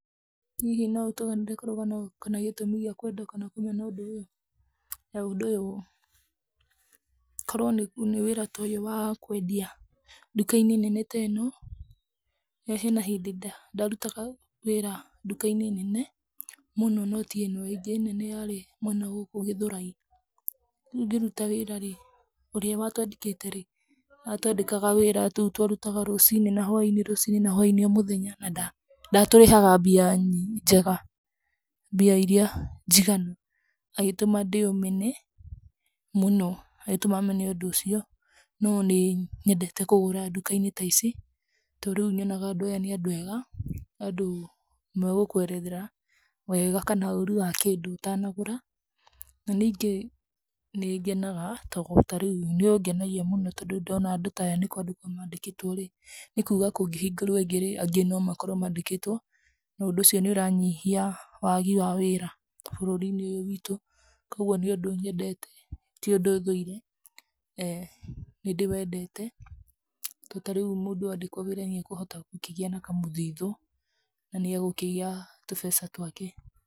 Hihi no ũtũganĩre karũgano gakoniĩ gĩtũmi gĩa kwenda kana kũmena ũndũ ũyũ ?Korwo nĩ wĩra ya ũyũ wa kwendia duka-inĩ nene ta ĩno na hena hĩndĩ ndarutaga wĩra duka-inĩ nene mũno no ti ĩno, ĩngĩ nene yarĩ mwena wa na gũkũ Gĩthũrai, rĩu ngĩruta wĩra ũrĩa watwandĩkĩte rĩ atwandĩka wĩra, twarutaga wĩra rũciinĩ na hwainĩ, rũciinĩ na hwainĩ na ndatũrĩhaga mbia njega, mbia iria njiganu, agĩtũma ndĩ ũmene mũno, agĩtũma mene ũndũ ũcio no nĩ nyendete kũgũra duka-inĩ ta ici tondũ rĩu nyonaga andũ aya nĩ andũ ega, nĩ andũ magũkũerethera wega kana ũru wa kĩndũ ũtanagũra na ningĩ nĩ ngenega tondũ ta rĩu nĩ ũngenagia mũno tondũ ndona andũ taya nĩ kwandĩkwo mandĩkĩtwo rĩ nĩ kuga kũngĩhingũrwo ĩngĩ rĩ andũ no makorwo mandĩkĩtwo, na ũndũ ũcio nĩ ũranyihia wagi wa wĩra bũrũri-inĩ ũyũ witũ kwoguo nĩ ũndũ nyendete, ti ũndũ thũire, nĩ ndĩwendete tondũ mũndũ andĩkwo nĩ akũhota kũgĩa na kamũthithũ na nĩ agũkĩgĩa tũbeca twake.